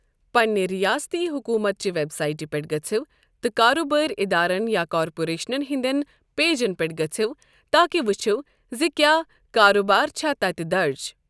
پنِنہِ ریٲستی حکوٗمتچہِ ویب سائٹہِ پٮ۪ٹھ گژھِو تہٕ کاربٲرۍ اِدارَن یا کارپوریشنَن ہٕنٛدٮ۪ن پیجَن پٮ۪ٹھ گژھِو تاکہِ ؤچھِو زِ کیا کاربار چھَ تَتٮ۪تھ درٕج۔